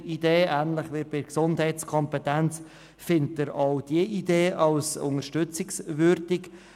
– Ähnlich wie bei der Gesundheitskompetenz erachtet er auch diese Idee für unterstützungswürdig.